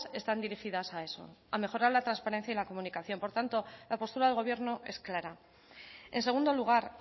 están dirigidas a eso a mejorar la transparencia y la comunicación por tanto la postura del gobierno es clara en segundo lugar